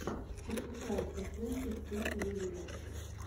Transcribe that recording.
пошукай эсэсинс крид юнивес